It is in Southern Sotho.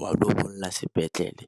wa bolla sepetlele.